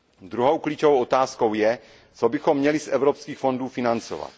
Druhou klíčovou otázkou je, co bychom měli z evropských fondů financovat.